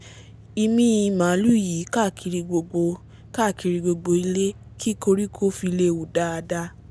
imíi màlúù yìí káàkiri gbogbo káàkiri gbogbo ilẹ̀ kí koríko fi lè hù dáadáa